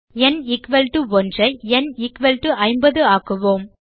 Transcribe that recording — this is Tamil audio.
ந் 1 ஐ ந் 50 ஆக்குவோம்